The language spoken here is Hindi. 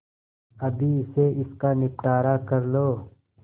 अभी से इसका निपटारा कर लो